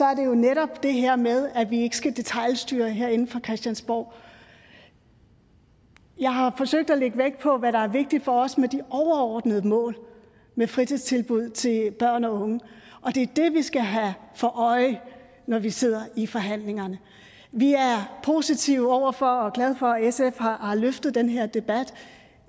er det netop det her med at vi ikke skal detailstyre herinde fra christiansborg jeg har forsøgt at lægge vægt på hvad der er vigtigt for os med de overordnede mål med fritidstilbud til børn og unge og det er det vi skal have for øje når vi sidder i forhandlingerne vi er positive over for og glade for at sf har har løftet den her debat